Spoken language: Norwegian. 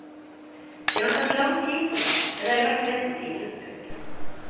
Det har tatt lang tid, komma men er verdt ventetiden. punktum